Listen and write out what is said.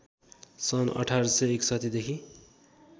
सन् १८६१ देखि